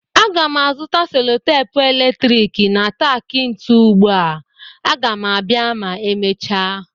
Ana m azụta selotepu eletrik na tak ntu ugbu a, Aga m abịa ma emechaa